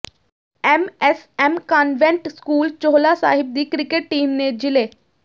M S M convent school Chohla Sahib ਦੀ cricket team ਨੇ ਜਿਲ੍ਹੇ